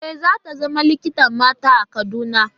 E, za ta zama likitar mata a Kaduna.